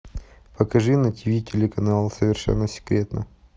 покажи на тв телеканал совершенно секретно